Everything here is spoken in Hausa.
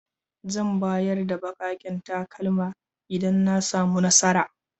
Zan bayar da bakaken takalma idan na samu nasara.